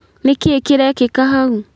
Nĩ kĩ kĩrekĩka hau